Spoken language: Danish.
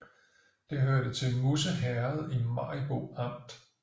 Det hørte til Musse Herred i Maribo Amt